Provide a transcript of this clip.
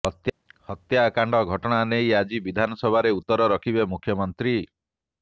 ହତ୍ୟାକାଣ୍ଡ ଘଟଣା ନେଇ ଆଜି ବିଧାନସଭାରେ ଉତ୍ତର ରଖିବେ ମୁଖ୍ୟମନ୍ତ୍ରୀ